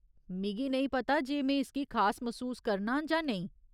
मिगी नेईं पता जे में इसगी खास मसूस करनां जां नेईं।